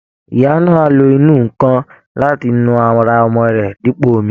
Ìyá náà á lo ìnù-ǹkan láti nu ara ọmọ rẹ̀ dípò omi